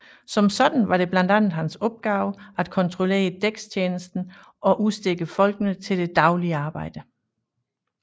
Som sådan var det blandt andet hans opgave at kontrollere dækstjenesten og udstikke folkene til det daglige arbejde